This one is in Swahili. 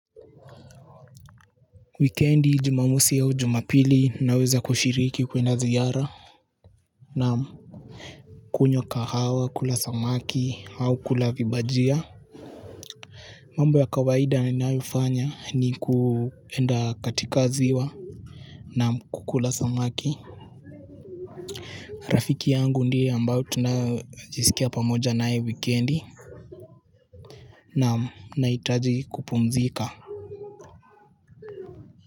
Wikendi Jumamosi au Jumapili naweza kushiriki kwenda ziara na kunywa kahawa, kula samaki au kula vibajia. Mambo ya kawaida ninayofanya ni kwenda katika ziwa na kukula samaki. Rafiki yangu ndiye ambaye tunajisikia pamoja nae wikendi na naitaji kupumzika.